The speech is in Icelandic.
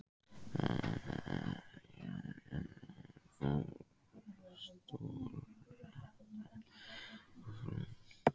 Menntamálanefndar, Jón Jónsson frá Stóradal og frú Guðrún